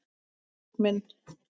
Friðrik minn!